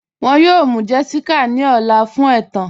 Wọn yọ̀ọ̀ mụ́ Jessica ní ọ̀lá fun ètán.